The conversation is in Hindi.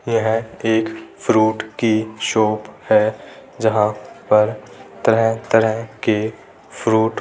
यह एक फ्रूट की शॉप है जहाँ पर तरह-तरह के फ्रूट --